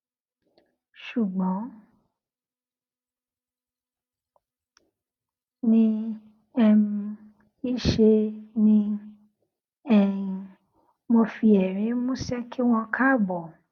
ṣùgbón ní um í ṣe ni um mo fi èrín músé kí wọn káàbò